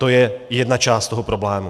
To je jedna část toho problému.